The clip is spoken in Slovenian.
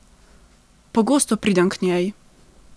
Pogosto pridem k njej.